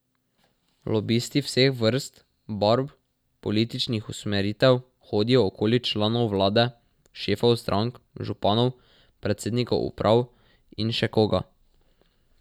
Lobisti vseh vrst, barv, političnih usmeritev hodijo okoli članov vlade, šefov strank, županov, predsednikov uprav in še koga.